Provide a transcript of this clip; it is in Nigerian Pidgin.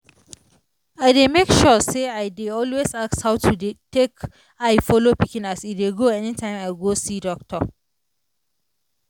i dey make sure say i dey always ask how to dey take eye follow pikin as e dey grow anytime i go see doctor.